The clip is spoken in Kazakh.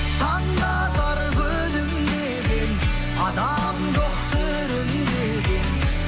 таң да бар күлімдеген адам жоқ сүрінбеген